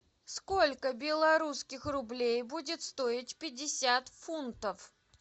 сколько белорусских рублей будет стоить пятьдесят фунтов